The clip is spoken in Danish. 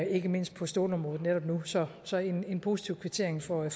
ikke mindst på stålområdet netop nu så så en positiv kvittering for